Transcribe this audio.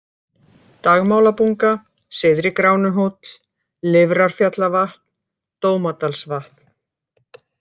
Dagmálabunga, Syðri-Gránuhóll, Lifrarfjallavatn, Dómadalsvatn